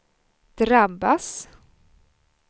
drabbas